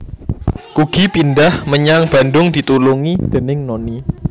Kugy Pindhah menyang Bandung ditulungi déning Noni